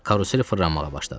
Karusel fırlanmağa başladı.